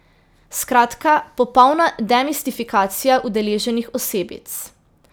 Skratka, popolna demistifikacija udeleženih osebic.